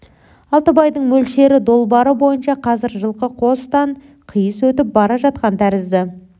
алтыбайдың мөлшері долбары бойынша қазір жылқы қостан қиыс өтіп бара жатқан тәрізді